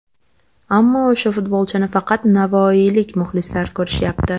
Ammo o‘sha futbolchini faqat navoiylik muxlislar ko‘rishyapti.